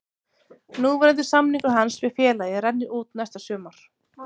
Núverandi samningur hans við félagið rennur út næsta sumar.